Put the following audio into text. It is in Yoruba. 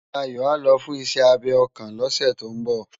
Dayo á lò fùn iṣè ábé òkán lòsè tó n bò